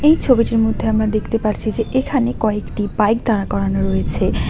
এই ছবিটির মধ্যে আমরা দেখতে পারছি যে এখানে কয়েকটি বাইক দাঁড় করানো রয়েছে।